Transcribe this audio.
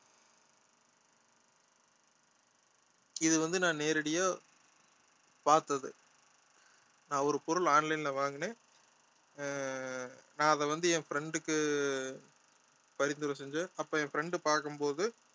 இது வந்து நான் நேரடியா பார்த்தது நான் ஒரு பொருள் online ல வாங்கினேன் ஆஹ் நான் அதை வந்து என் friend க்கு பரிந்துரை செஞ்சேன் அப்ப என் friend பார்க்கும் போது